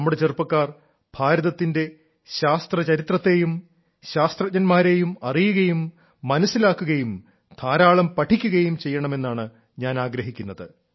നമ്മുടെ ചെറുപ്പക്കാർ ഭാരതത്തിന്റെ ശാസ്ത്രചരിത്രത്തെയും ശാസ്ത്രജ്ഞന്മാരെയും അറിയുകയും മനസ്സിലാക്കുകയും ധാരാളം പഠിക്കുകയും ചെയ്യണമെന്നാണ് ഞാൻ ആഗ്രഹിക്കുന്നത്